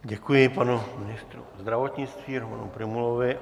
Děkuji panu ministrovi zdravotnictví Romanu Prymulovi.